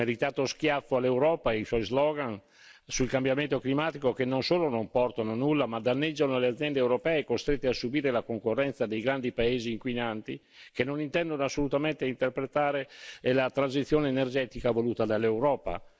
Un meritato schiaffo all'Europa e ai suoi slogan sul cambiamento climatico che, non solo non portano nulla, ma danneggiano le aziende europee, costrette a subire la concorrenza dei grandi paesi inquinanti, che non intendono assolutamente intraprendere la transizione energetica voluta dall'Europa.